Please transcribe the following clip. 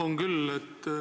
On küll.